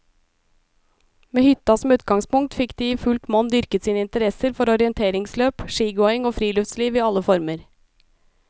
Med hytta som utgangspunkt fikk de i fullt monn dyrket sine interesser for orienteringsløp, skigåing og friluftsliv i alle former.